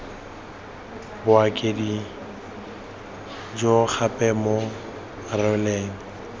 bokaedi jo gape bo rwele